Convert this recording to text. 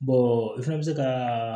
i fɛnɛ bɛ se ka